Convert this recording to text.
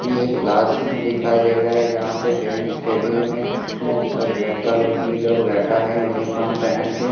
ये एक classroom दिखाई दे रहा है यहां पे बेंच टेबल में अह सब लड़का लड़की लोग बैठा है यूनिफार्म पहन के।